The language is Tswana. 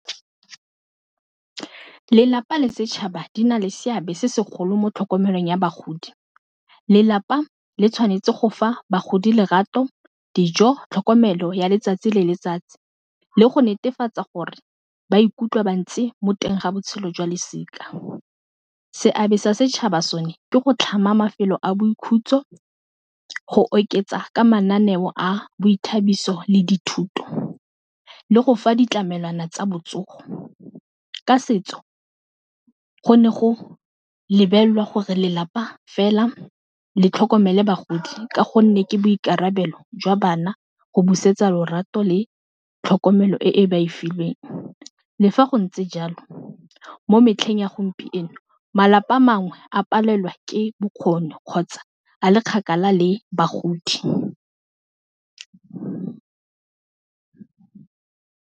Lelapa le setšhaba di na le seabe se segolo mo tlhokomelong ya bagodi, lelapa le tshwanetse go fa bagodi lerato, dijo, tlhokomelo ya letsatsi le letsatsi le go netefatsa gore ba ikutlwa ba ntse mo teng ga botshelo jwa losika. Seabe sa setšhaba sone ke go tlhama mafelo a boikhutso, go oketsa ka mananeo a boithabiso le dithuto le go fa ditlamelwana tsa botsogo, ka setso go ne go lebelela gore lelapa fela le tlhokomele bagodi ka gonne ke boikarabelo jwa bana go busetsa lorato le tlhokomelo e e ba e filweng, le fa go ntse jalo mo metlheng ya gompieno malapa a mangwe a palelwa ke kgotsa a le kgakala le bagodi.